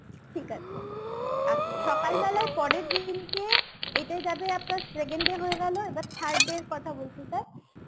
ঠিক আছে আচ্ছা সকালবেলায় পরের দিনকে এটা যাবে আপনার second day হয়ে গেল এবার third day র কথা বলছি sir